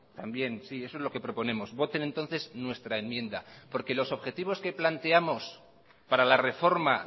también sí eso es lo que proponemos voten entonces nuestra enmienda porque los objetivos que planteamos para la reforma